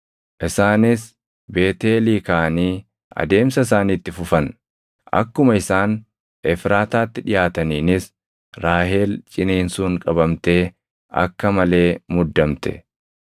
Isaanis Beetʼeelii kaʼanii adeemsa isaanii itti fufan. Akkuma isaan Efraataatti dhiʼaataniinis Raahel ciniinsuun qabamtee akka malee muddamte.